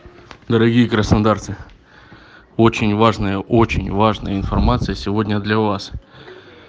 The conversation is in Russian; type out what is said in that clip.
дорогие краснодарцы очень важная очень важная информация сегодня для вас